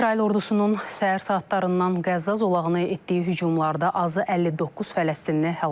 İsrail ordusunun səhər saatlarından Qəzza zolağını etdiyi hücumlarda azı 59 Fələstinli həlak olub.